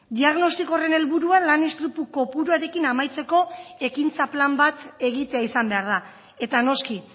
diagnostiko horren helburua lan istripu kopuruarekin amaitzeko ekintza plan bat egitea izan behar da eta noski